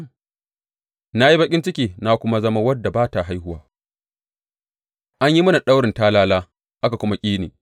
Na yi baƙin ciki na kuma zama wadda ba ta haihuwa; an yi mini daurin talala aka kuma ƙi ni.